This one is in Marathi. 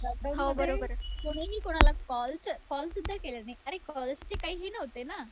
लॉकडाऊनमध्ये कुणीही कुणाला कॉल कॉलसुद्धा केला नाही. अरे कॉल्सचे काही हे नव्हते ना.